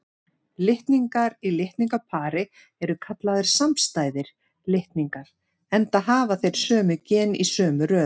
Litningar í litningapari eru kallaðir samstæðir litningar, enda hafa þeir sömu gen í sömu röð.